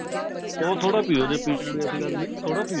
ਪਿਓ ਥੋੜਾ ਪਿਓ ਜੇ ਪੀਣਾ ਕੋਈ ਐਸੀ ਗੱਲ ਨਹੀਂ ਥੋੜਾ ਪਿਓ